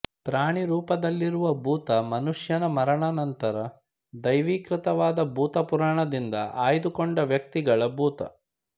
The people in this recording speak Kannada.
ಪ್ರಾಣಿರೂಪದಲ್ಲಿರುವ ಭೂತ ಮನುಷ್ಯನ ಮರಣಾನಂತರ ದೈವೀಕೃತವಾದ ಭೂತ ಪುರಾಣದಿಂದ ಆಯ್ದುಕೊಂಡ ವ್ಯಕ್ತಿಗಳ ಭೂತ